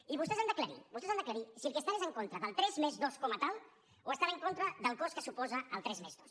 i vostès han d’aclarir vostès han d’aclarir si el que estan és en contra del tres+dos com a tal o estan en contra del cost que suposa el tres+dos